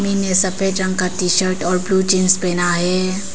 आदमी ने सफेद रंग का टी शर्ट और ब्ल्यू जींस पहना है।